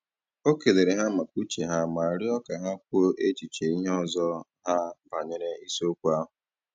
O kelere ha maka uche ha ma rịọ ka ha kwuo echiche ndị ọzọ ha banyere isiokwu ahụ